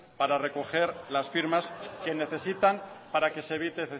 para recoger las firmas que necesitan para que se evite